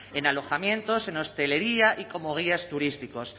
en alojamientos en hostelería y como guías turísticos